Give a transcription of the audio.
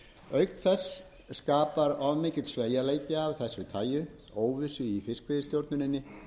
auk þess skapar of mikill sveigjanleiki af þessu taginu óvissu í fiskveiðistjórninni